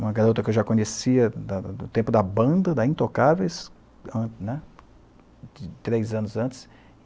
uma garota que eu já conhecia da da do tempo da banda, da Intocáveis né, três anos antes.